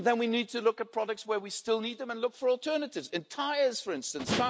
Then we need to look at products where we still need them and look for alternatives in tyres, for instance.